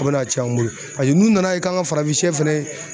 O bɛna cɛn an bolo paseke n'u nana ye k'an ka farafinsɛ fɛnɛ